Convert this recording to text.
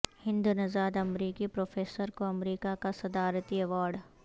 ہند نژاد امریکی پروفیسر کو امریکہ کا صدارتی ایوارڈ